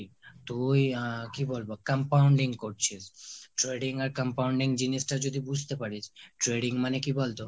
তুই কি বলবো compounding করছিস। trading আর compounding জিনিস টা যদি বুজতে পারিস! trading মানে কি বলতো?